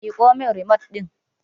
Miƙo min rimot ɗin!